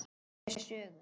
Segja sögur.